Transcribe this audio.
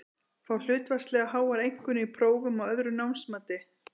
Fá hlutfallslega háar einkunnir í prófum og öðru námsmati.